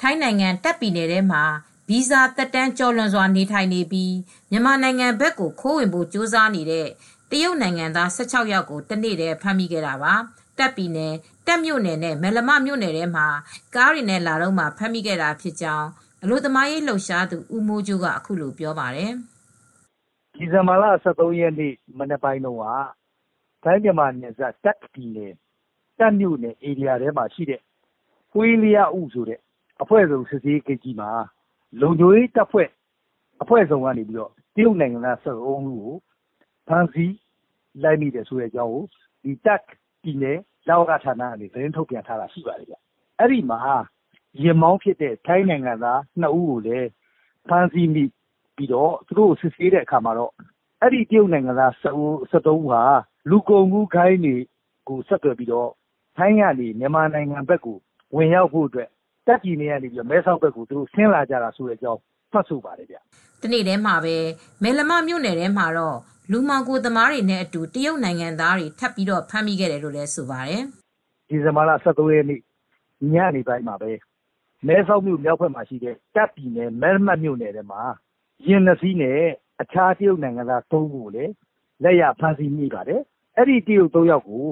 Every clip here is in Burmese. ထိုင်းနိုင်ငံတာခ့်ပြည်နယ်ထဲမှာ ဗီဇာ သက်တမ်းကျော်လွန် နေထိုင်နေပြီး မြန်မာနိုင်ငံဘက်ကို ခိုးဝင်ဖို့ကြိုးစားတဲ့ တရုတ်နိုင်ငံသား (၁၆)ယောက်ကို တနေ့တည်းမှာ ဖမ်းမိခဲ့တာပါ။ တာခ်ပြည်နယ် တာ့ခ်မြို့နယ်နဲ့ မယ်လမမြို့နယ်ထဲမှာ ကားတွေနဲ့ လာတုန်းမှာ ဖမ်းမိခဲ့တာဖြစ်ကြောင်း အလုပ်သမားရေးလှုပ်ရှားသူ ဦးမိုးကြိုးက ပြောပါတယ်။ " ဒီဇင်ဘာလ ၁၃ ရက်နေ့ မနက်ပိုင်းမှာတော့ ထိုင်းမြန်မာနယ်စပ် တာ့ခ်ပြည်နယ် တာခ့်မြို့နယ်ထဲမှာပဲ လုံခြုံရေးတပ်ဖွဲ့အဖွဲ့စုံက တရုတ်နိုင်ငံသား (၁၃)ဦးကို ဖမ်းမိခဲ့ပါတယ်၊ လဝက က သတင်းထုတ်ပြန်ပါတယ်။ ယာဉ်မောင်းဖြစ်တဲ့ ထိုင်းနိုင်ငံသား (၂)ဦးကို ဖမ်းဆီးပြီး စစ်ဆေးတဲ့အခါမှာ တရုတ်နိုင်ငံသား(၁၃)ဦးဟာ လူကုန်ကူးသမားတွေကို ဆက်သွယ်ပြီးတော့ တာ့ခ်ပြည်နယ် မဲဆောက်ကနေ မြန်မာနိုင်ငံဖက်ကို ခိုးဝင်ဖို့ ဆင်းလာကြတာဖြစ်တယ်လို့ ဝန်ခံ ထွက်ဆိုကြပါတယ်။" တနေ့တည်းမှာပဲ မယ်လမမြို့ထဲမှာတော့ လူမှောင်ခိုသမားတွေနဲ့အတူ တရုတ်နိုင်ငံသားတွေ ထပ်ပြီး ဖမ်းမိတယ်လို့ဆိုပါတယ်။ " ဒီဇင်ဘာလ ၁၃ ရက်နေ့ ညနေပိုင်းမှာပဲ မဲဆောက်မြို့ တာခ့်ပြည်နယ် မဲလမမြို့နယ်ထဲမှာ ယာဉ် ၂စီးနဲ့ တခြား တရုတ်နိုင်ငံသား ၃ ဦးကိုလည်း ဖမ်းမိခဲ့ပါတယ်။ အဲဒီ တရုတ် ၃ ယောက်ကို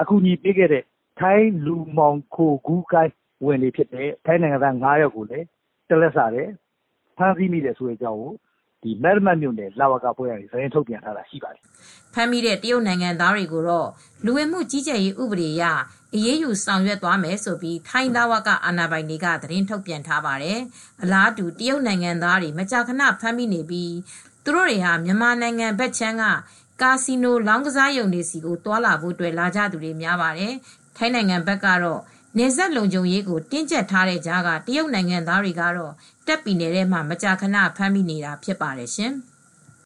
အကူညီပေးခဲ့တဲ့ ထိုင်း လူမှောင်ခိုဂိုဏ်းက လူ ၅ ဦးကိုလည်း ဖမ်းဆီးခဲ့တယ်လို့ မယ်လမ လဝကက သတင်းထုတ်ပြန် ထားပါတယ်။ " ဖမ်းမိတဲ့ တရုတ်နိုင်ငံသားတွေကိုတော့ လူဝင်မှုကြီးကြပ်ရေးဥပဒေအရ အရေးယူ ဆောင်ရွက်သွားမယ်လို့ ထိုင်းလဝက အာဏာပိုင်တွေက သတင်းထုတ်ပြန် ထားပါတယ်။ အလားတူ တရုတ်နိုင်ငံသားတွေ မကြာခန ဖမ်းမိနေပြီး သူတို့တွေဟာ မြန်မာနိုင်ငံဖက်ခြမ်းက ကာစီနို လောင်းကစားရုံတွေဆီကို သွားလာဖို့အတွက် လာကြသူတွေ များပါတယ်။ ထိုင်းနိုင်ငံဘက် နယ်စပ်လုံခြုံရေးကိုတင်းကြပ်ထားတဲ့ကြားက တရုတ်နိုင်ငံသားတွေကို တာ့ခ်ပြည်နယ်ထဲမှာ မကြာခန ဖမ်းမိနေတာဖြစ်ပါတယ်ရှင်။